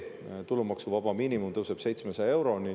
Tulumaksuvaba miinimum tõuseb 700 euroni.